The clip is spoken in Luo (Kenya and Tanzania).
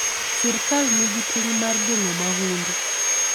Sirkal nigi ting' mar geng'o mahundu.